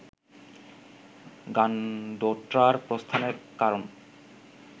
গানডোট্রার প্রস্থানের কারণ